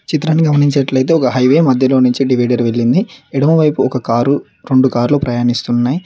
చిత్రాన్ని గమనించేట్లైతే ఒక హైవే మధ్యలో నుంచి డివైడర్ వెళ్ళింది ఎడమవైపు ఒక కారు రెండు కార్లు ప్రయానిస్తున్నాయి.